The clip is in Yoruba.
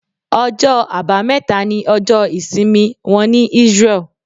Ọjọ́ àbámẹ́ta ní ọjọ ìsìnmi wọ́n ní Israel.